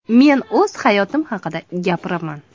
Men o‘z hayotim haqida gapiraman.